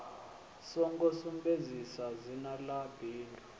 songo sumbedzisa dzina ḽa bindu